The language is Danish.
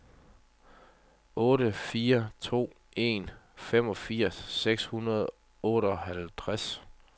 otte fire to en femogfirs seks hundrede og otteoghalvtreds